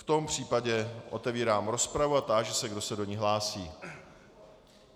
V tom případě otevírám rozpravu a táži se, kdo se do ní hlásí.